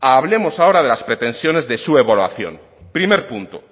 hablemos ahora de las pretensiones de su evaluación primer punto